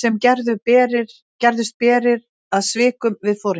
sem gerðust berir að svikum við foringjann.